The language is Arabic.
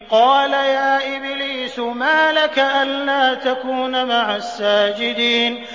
قَالَ يَا إِبْلِيسُ مَا لَكَ أَلَّا تَكُونَ مَعَ السَّاجِدِينَ